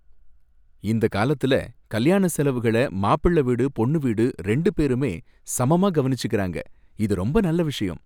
இந்த காலத்துல கல்யாண செலவுகள மாப்பிள்ள வீடு, பொண்ணு வீடு ரெண்டு பேருமே சமமா கவனிச்சுக்கிறாங்க, இது ரொம்ப நல்ல விஷயம்.